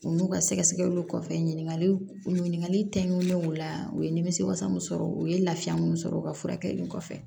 U n'u ka sɛgɛsɛgɛliw kɔfɛ ɲininkaliw ɲininkali kɛ ɲunnen o la u ye nimisiwasa min sɔrɔ u ye lafiya mun sɔrɔ u ka furakɛli kɔfɛ